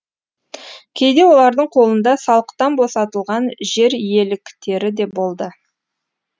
кейде олардың қолында салықтан босатылған жер иеліктері де болды